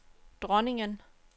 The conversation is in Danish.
dronningen